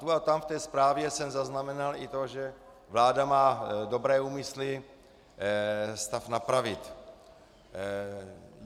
Tu a tam v té zprávě jsem zaznamenal i to, že vláda má dobré úmysly stav napravit.